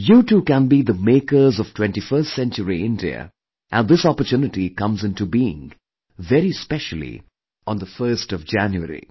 You too can be the makers of 21st century India and this opportunity comes into being, very specially, on the 1st of January